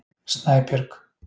Snæbjörg